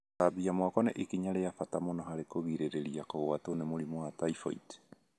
Gũthambia moko nĩ ikinya rĩa bata mũno harĩ kũgirĩrĩria kũgwatwo nĩ mũrimũ wa typhoid